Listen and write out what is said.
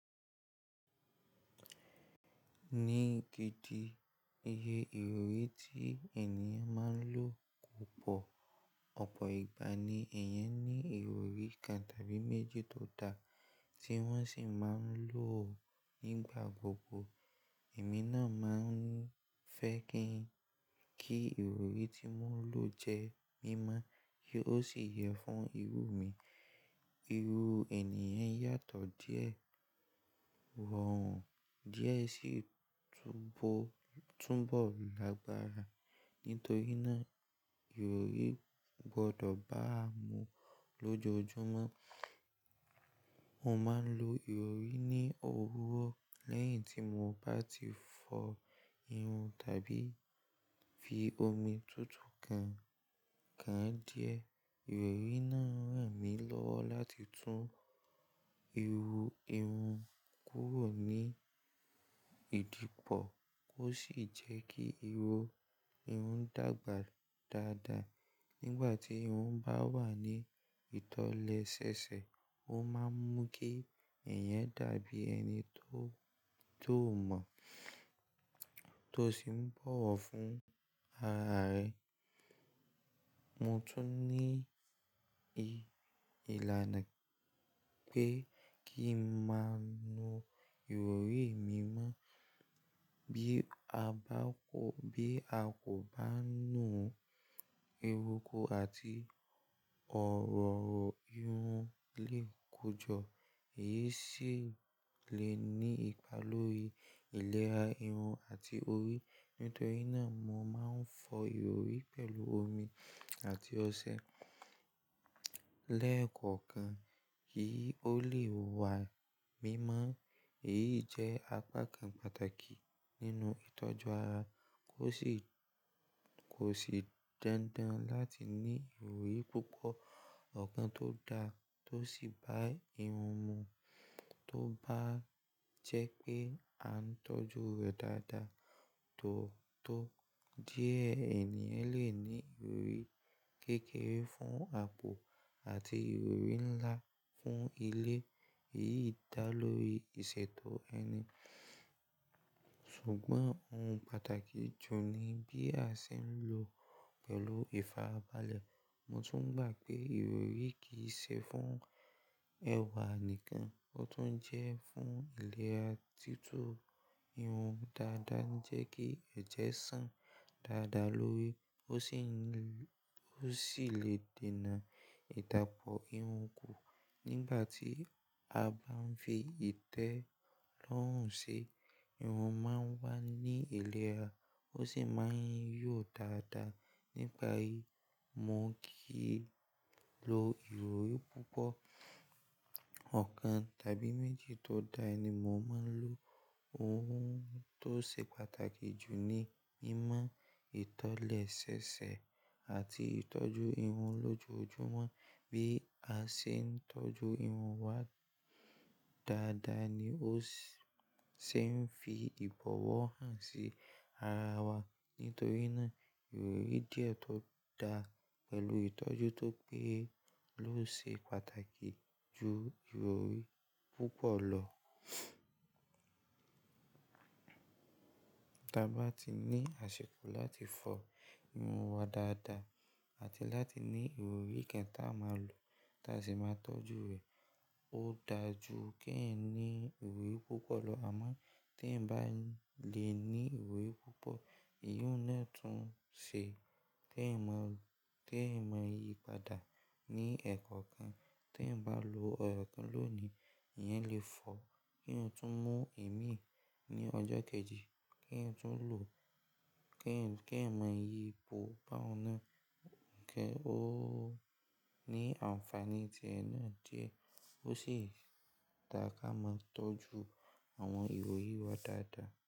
Ní gidi iye ìròrí tí ènìyàn máa ń lò púpọ̀, ọ̀pọ̀ ìgbà ni èèyàn ní ìrọrí kan tàbí méjì tó da, tí wọ́n sì máa ń lò ó nígbà gbogbo. Ẹ̀mí náà máa ń fẹ́ kí ìrọ̀rí tí mò ń lò jẹ mímọ́ kí ó sì yẹ fún irú mi. Irú ènìyàn yàtọ̀ díẹ̀, wọ̀hán díẹ̀ sì túnbọ̀ lágbára. Nítorí náà ìrọ̀rí gbọdọ̀ bá a mu lójoojúmọ́. Mo máa ń lo ìrọ̀rí ní òwúrọ̀ lẹ́yìn tí mo bá ti fọ irun tàbí fi omi tutù kan káa díẹ̀. Ìrọ̀rí náà rẹ̀ mí lọ́wọ́ láti tún iru irun kúrò ní ìdìpọ̀ kó sì jẹ́ kí irun dàgbà dáadáa. Nígbà tí irun bá wà ní ìtọ̀lẹ̀ ṣẹ̀ṣẹ̀, ó máa ń mú kí ẹ̀yàn dàbí ẹni tó mọ̀, tó sì ń bọ̀wọ̀ fún ara rẹ̀. Mo tún ní ìlaná pé kí n máa nu ìrọ̀rí mi mọ́. Bí a kò bá nu, erùkù àti ọ̀rọ̀rọ̀ irun lè kójọ, èyí sì lè ní ipa lórí ìlera irun àti orí. Nítorí náà mo máa ń fọ ìrọ̀rí pẹ̀lú omi àti ọṣẹ lẹ́ẹ̀kọ̀kan kí ó lè wà mímọ́. Èyí jẹ́ apá kan pàtàkì nínú ìtọ́jú ara kó sì dandan láti ní ìrọ̀rí púpọ̀. Ọ̀kan tó da tó sì bá irun mu, tó bá jẹ́ pé a ń tọ́jú rẹ̀ dáadáa totọ́. Díẹ̀ ènìyàn lè ní ìrọ̀rí kékeré fún àpò àti ìrọ̀rí ńlá fún ilé, èyí dà lórí ìṣètò ẹni. Ṣùgbọ́n ohun pàtàkì jù ni bí a ṣe ń lò ó pẹ̀lú ìfarabalẹ̀. Mo tún gbà pé ìrọ̀rí kì í ṣe fún ẹwà nìkan, ó tún jẹ́ fún ìlera. Títú irun dáadáa ń jẹ́ kí ẹ̀jẹ̀ sàn dáadáa lórí, ó sì lè dènà ìdàpọ̀ irun kù nígbà tí a bá ń fi ìtẹ́ lọ́rùn ṣe. Irun máa ń wà ní ìlera ó sì máa ń yọ̀ dáadáa. Nípa èyí, mo kì í lo ìrọ̀rí púpọ̀, ọ̀kan tàbí méjì tó da ni mo máa ń lò. Ohun tó ṣe pàtàkì jù ni mímọ ìtọ̀lẹ̀ ṣẹ̀ṣẹ̀ àti ìtọ́jú irun lójoojúmọ́. Bí a ṣe ń tọ́jú irun wa dáadáa ni ó ṣe ń fi ìbọ̀wọ̀ hàn sí ara wa. Nítorí náà ìrọ̀rí jẹ̀ tó da pẹ̀lú ìtọ́jú tó péye ló ṣe pàtàkì ju ìrọ̀rí púpọ̀ lọ. Dà bá ti ni àṣèkò láti fọ irun wa dáadáa àti láti ni ìrọ̀rí kẹtà máa lò tàsí máa tọ́jú rẹ̀. Ó dà jù kí ẹ ní ìrọ̀rí púpọ̀ lọ. Àmọ́ tí ẹ bá lè ní ìrọ̀rí púpọ̀, ìyùn náà tún ṣe. Tí èèyàn mọ yí padà ní ẹ̀kọ́ kan, tí ẹ bá lo ẹ̀kọ́ lónìí, èèyàn lè fọ́ kí èèyàn tún mú èmí ní ọjọ́ kẹjì, kí èèyàn tún lò, kí èèyàn mọ yípo bá n na, ó ní àǹfàní tiẹ náà jẹ́. Ó sì dá ká máa tọ́jú. Àwọn ìrọ̀rí wa dáadáa.